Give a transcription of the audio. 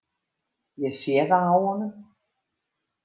Ég sé það á honum.